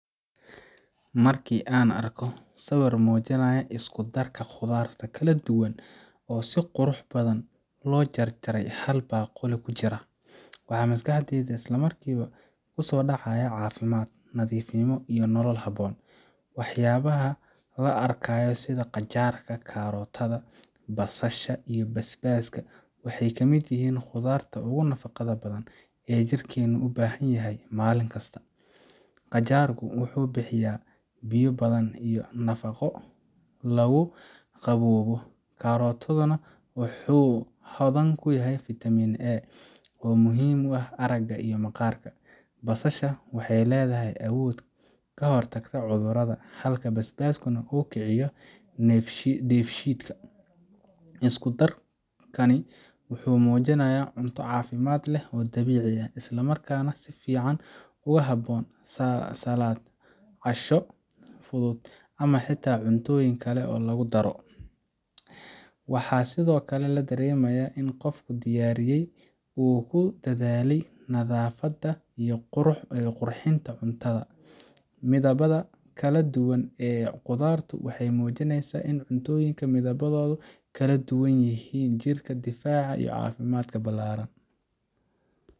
Marka aan arko sawirkan oo muujinaya isku darka khudaar kala duwan oo si qurux badan loo jarjaray oo hal baaquli ku jira, waxa maskaxdayda isla markiiba ku soo dhacaya caafimaad, nadiifnimo, iyo nolol habboon. Waxyaabaha la arkayo sida qajaarka, kaarootka, basasha iyo basbaaska waxay ka mid yihiin khudaarta ugu nafaqada badan ee jirkeenu u baahan yahay maalin kasta. Qajaarku wuxuu bixiyaa biyo badan iyo nafaqo lagu qaboobo, kaarootkuna waa hodan ku ah fitamiin A oo muhiim u ah aragga iyo maqaarka. Basasha waxay leedahay awood ka hortag cudurrada, halka basbaasku uu kiciyo dheefshiidka. Isku darkani wuxuu muujinayaa cunto caafimaad leh oo dabiici ah, isla markaana si fiican ugu habboon saladh, casho fudud, ama xitaa cuntooyin kale lagu daro. Waxaa sidoo kale la dareemayaa in qofkii diyaariyay uu ku dadaalay nadaafadda iyo qurxinta cuntada. Midabada kala duwan ee khudaartu waxay muujinayaan in cuntooyinka midabkooda kala duwan ay u yihiin jirka difaac iyo caafimaad ballaaran.